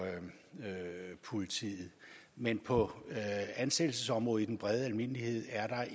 politiet men på ansættelsesområdet i den brede almindelighed er der